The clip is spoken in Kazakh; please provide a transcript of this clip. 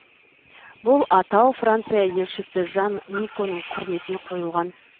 бұл атау франция елшісі жан никоның құрметіне қойылған